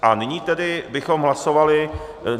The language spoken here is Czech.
A nyní tedy bychom hlasovali.